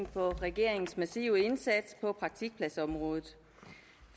på regeringens massive indsats på praktikpladsområdet